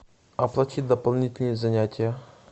оплатить дополнительные занятия